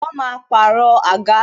Wọn máa pàrọ̀ àga.